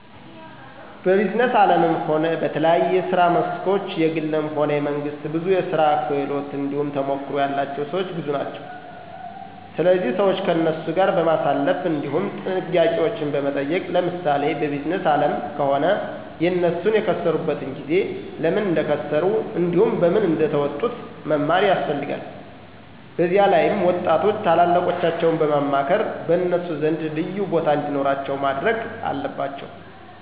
በቢዝነስ አለምም ሆነ በተለያየ የስራ መስኮች የግልም ሆነ የመንግስት ብዙ የስራ ክህሎት እንዲሁም ተሞክሮ ያላቸው ሰወች ብዙ ናቸው ስለዚህ ሰዋች ከነሱ ጋር በማሳለፍ እንዲሁም ጥያቄዎችን በመጠየቅ ለምሳሌ በቢዝነስ አለም ከሆነ የነሱን የከሰሩበትን ጊዜ፣ ለምን እንደከሰሩ እንዲሁም በምን እንደተወጡት መማር ያስፈለልጋል። በዚላይም ወጣቶች ታላላቆቻቸውን በማክበር በነሱ ዘንድ ልዩቦታ እንዲኖራቸው ማድረግ አለባቸው።